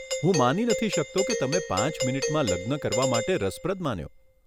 હું માની નથી શકતો કે તમે પાંચ મીનીટમાં લગ્ન કરવા માટે રસપ્રદ માન્યો.